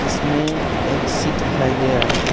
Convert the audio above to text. इसमें एक सीट दिखाई दे रहा है।